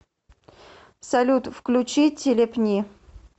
салют включи телепни